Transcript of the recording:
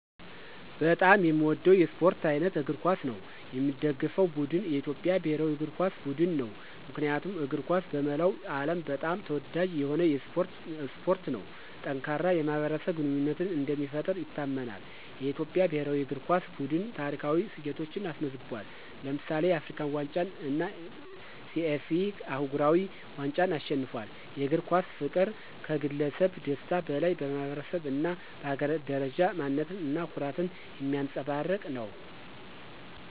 በጣም የሚወደው የስፖርት አይነት እግር ኳስ ነው። የሚደገፈው ቡድን የኢትዮጵያ ብሔራዊ እግር ኳስ ቡድን ነው። ምክንያቱም እግር ኳስ በመላው ዓለም በጣም ተወዳጅ የሆነ ስፖርት ነው። ጠንካራ የማኅበረሰብ ግንኙነትን እንደሚፈጥር ይታመናል። የኢትዮጵያ ብሔራዊ እግር ኳስ ቡድን ታሪካዊ ስኬቶችን አስመዝግቧል። ለምሳሌ፣ የአፍሪካ ዋንጫን እና CAF አህጉራዊ ዋንጫን አሸንፏል። የእግር ኳስ ፍቅር ከግለሰብ ደስታ በላይ በማኅበረሰብ እና በሀገር ደረጃ ማንነት እና ኩራትን የሚያንፀባርቅ ነው።